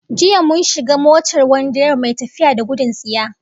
Jiya mun shiga motar wani direba mai tafiya da gudun tsiya